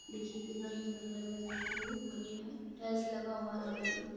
देखिए कितना सुंदर लग रहा है देखने में बढ़िया है टाइल्स लगा हुआ है हर जगह।